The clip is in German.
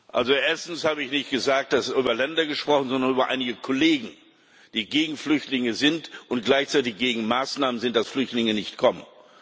Also erstens habe ich nicht gesagt, dass über Länder gesprochen wird, sondern über einige Kollegen, die gegen Flüchtlinge sind und gleichzeitig gegen Maßnahmen sind, dass Flüchtlinge nicht kommen.